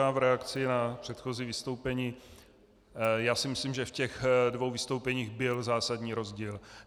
Já v reakci na předchozí vystoupení - já si myslím, že v těch dvou vystoupeních byl zásadní rozdíl.